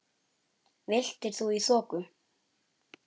Villtir í þoku